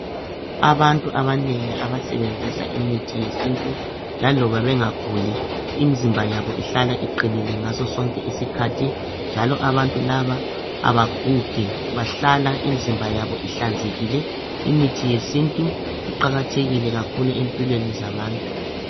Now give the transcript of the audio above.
Abantu abanengi abasebenzisa imithi yesintu laloba bengaguli imizimba yabo ihlala iqinile ngasosonke isikhathi njalo abantu laba abagugi bahlala imizimba yabo ihlanzekile. Imithi yesintu iqakathekile kakhulu empilweni zabantu.